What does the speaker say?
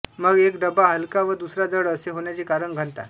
मग एक डबा हलका व दुसरा जड असे होण्याचे कारण घनता